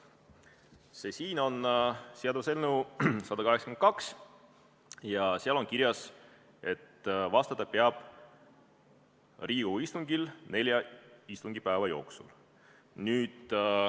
See siin on seaduseelnõu 182 ja seal on kirjas, et vastama peab Riigikogu istungil nelja istungipäeva jooksul.